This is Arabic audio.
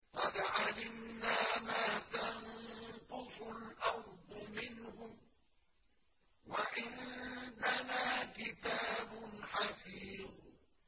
قَدْ عَلِمْنَا مَا تَنقُصُ الْأَرْضُ مِنْهُمْ ۖ وَعِندَنَا كِتَابٌ حَفِيظٌ